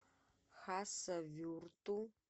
хасавюрту